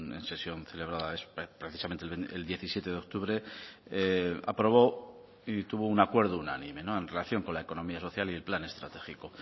en sesión celebrada precisamente el diecisiete de octubre aprobó y tuvo un acuerdo unánime en relación con la economía social y el plan estratégico